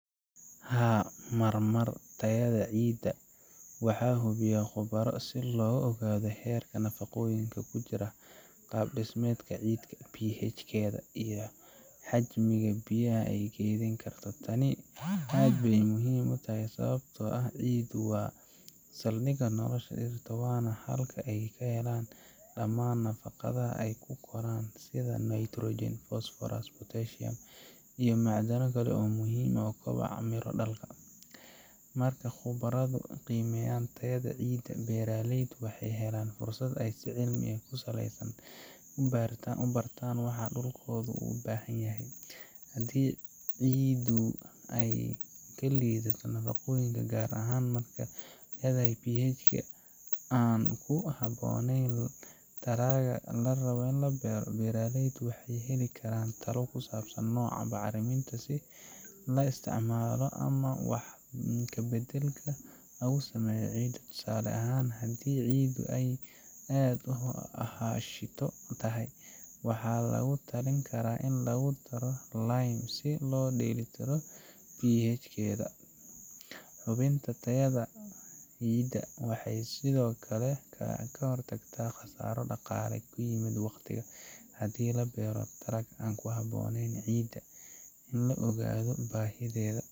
Mararka qaar, tayada ciidda waxaa hubiya khubaro si loo ogaado heerka nafaqooyinka, pH-keeda, iyo xajmiga ay keeni karto. Tani waa arrin aad muhiim u ah, sababtoo ah ciiddu waa saldhigga nolosha, waxaana laga helaa dhammaan nafaqooyinka ay dhirtu ku korto, sida Nitrogen, Potassium, iyo macdano kale oo muhiim u ah miradhalka. Marka khubaradu ay baaraan tayada ciidda, beerleydu waxay helaan fursad cilmi ku saleysan si ay u bartaan waxa xubnaha dhirta u baahan yihiin. Haddii ciiddu ay ka liidato nafaqooyin gaar ah, ama haddii pH-keedu aanu ku habboonayn dalagga la beeri doono, beerleydu waxay heli karaan talooyin ku saleysan nooca bacriminta ee la isticmaali karo ama isbeddel lagu sameeyo ciidda. Tusaale ahaan, haddii ciiddu ay aad u aashito tahay (acidic), waxaa lagu taliyay in lagu daro lime si loo dheellitiro pH-keeda. Hubinta tayada ciidda waxay sidoo kale ka hortagtaa khasaaraha dhaqaale iyo waqti haddii la beero dalag aan ku habboonayn ciiddaas.